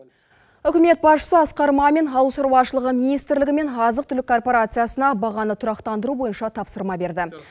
үкімет басшысы асқар мамин ауыл шаруашылығы министрлігі мен азық түлік корпорациясына бағаны тұрақтандыру бойынша тапсырма берді